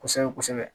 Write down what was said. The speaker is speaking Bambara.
Kosɛbɛ kosɛbɛ